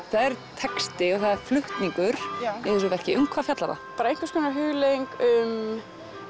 það er texti og það er flutningur í þessu verki um hvað fjallar það bara einhvers konar hugleiðing um